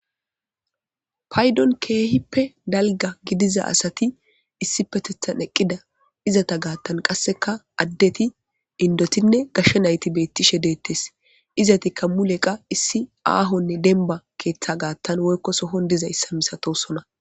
paydon keehippe dalga gidiza asati issi petethan eqqida izata gaattan qasseka addeti indotinne gashshe nayti beettishe deettes izatikka muleqa issi aahonne denba keeththa gaattan woykko sohon diza issa misatosona